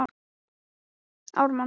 Talaði hægt og í hálfum hljóðum.